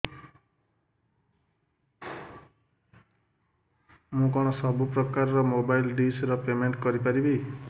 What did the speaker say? ମୁ କଣ ସବୁ ପ୍ରକାର ର ମୋବାଇଲ୍ ଡିସ୍ ର ପେମେଣ୍ଟ କରି ପାରିବି